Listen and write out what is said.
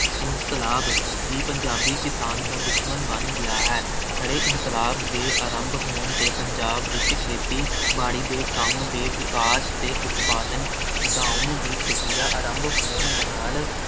ਇਨਕਲਾਬ ਹੀ ਪੰਜਾਬੀ ਕਿਸਾਨ ਦਾ ਦੁਸ਼ਮਣ ਬਣ ਗਿਆ ਹੈ । ਹਰੇ ਇਨਕਲਾਬ ਦੇ ਆਰੰਭ ਹੋਣ 'ਤੇ ਪੰਜਾਬ ਵਿੱਚ ਖੇਤੀ ਬਾੜੀ ਦੇ ਕੰਮ ਦੇ ਵਿਕਾਸ ਅਤੇ ਉਤਪਾਦਨ ਵਧਾਉਣ ਦੀ ਪ੍ਰਕਿਰਿਆ ਆਰੰਭ ਹੋਣ ਨਾਲ